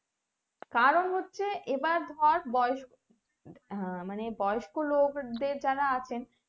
কারণ হচ্ছে এবার ধর বয়েস আহ মানে বয়স্ক লোকদের যারা আছেন